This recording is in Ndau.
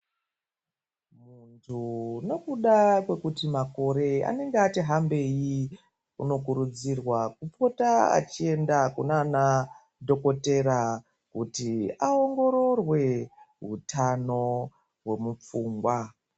Muntu nekuda kwekuti makore anenge atihambei unokurudzirwa kupota achienda kunana dhokotera kuti aongororwe hutano hwemupfungwa